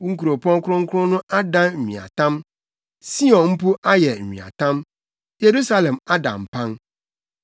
Wo nkuropɔn kronkron no adan nweatam; Sion mpo ayɛ nweatam, Yerusalem ada mpan.